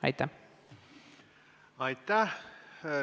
Aitäh!